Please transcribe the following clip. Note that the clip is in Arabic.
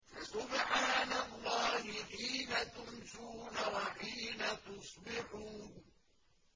فَسُبْحَانَ اللَّهِ حِينَ تُمْسُونَ وَحِينَ تُصْبِحُونَ